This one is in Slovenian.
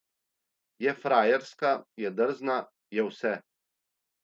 Je frajerska, je drzna, je vse.